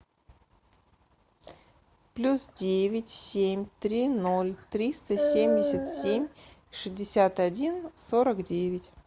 плюс девять семь три ноль триста семьдесят семь шестьдесят один сорок девять